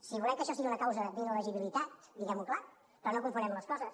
si volem que això sigui una causa d’illegibilitat diguem ho clar però no confonguem les coses